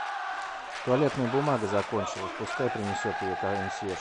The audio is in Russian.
туалетная бумага закончилась пускай принесет ее консьерж